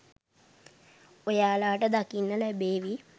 ඔයාලට දකින්න ලැබේවි